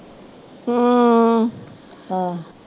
ਹਮ